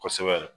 Kosɛbɛ